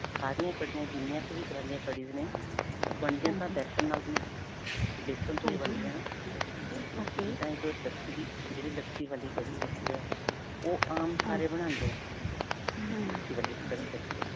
ਸਾਰੀਆਂ ਕੜੀਆਂ, ਜਿੰਨੀਆਂ ਕ ਵੀ ਤਰ੍ਹਾਂ ਦੀਆਂ ਕੜੀਜ਼ ਨੇ ਉਹ ਬਣਦੀਆ ਤਾਂ ਬੇਸਨ ਨਾਲ ਹੀ ਨੇ ਬੇਸਨ ਤੋਂ ਹੀ ਬਣਦੀਆਂ ਨੇ ਜਿੱਦਾਂ ਇਕ ਲੱਸੀ ਦੀ, ਜਿਹੜੀ ਲੱਸੀ ਵਾਲੀ ਕੜੀ ਹੈਗੀ ਹੈ. ਉਹ ਆਮ ਸਾਰੇ ਬਣਾਉਂਦੇ ਨੇ ਲੱਸੀ ਵਾਲੀ ਹੈਗੀ ਹੈ.